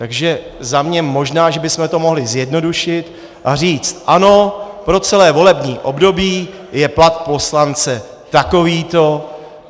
Takže za mě, možná že bychom to mohli zjednodušit a říct ano, po celé volební období je plat poslance takovýto.